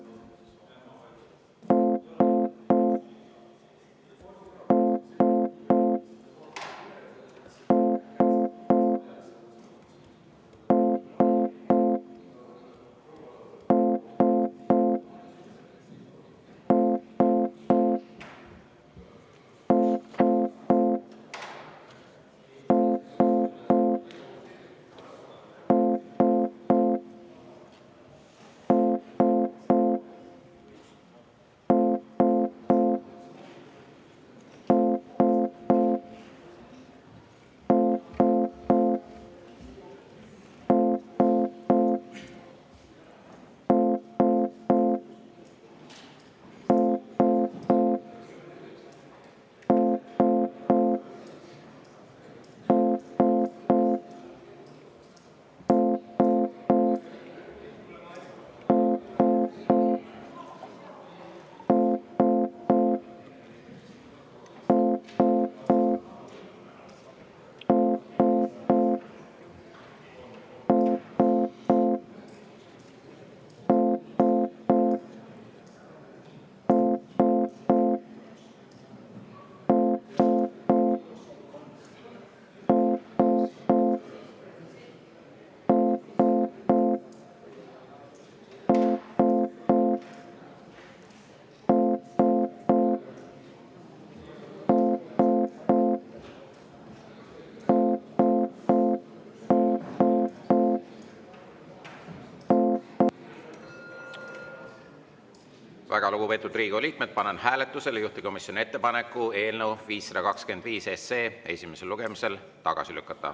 Väga lugupeetud Riigikogu liikmed, panen hääletusele juhtivkomisjoni ettepaneku eelnõu 525 esimesel lugemisel tagasi lükata.